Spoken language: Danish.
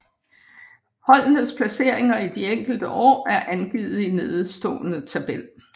Holdenes placeringer de enkelte år er angivet i nedenstående tabel